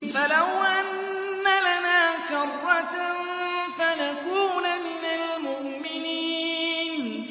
فَلَوْ أَنَّ لَنَا كَرَّةً فَنَكُونَ مِنَ الْمُؤْمِنِينَ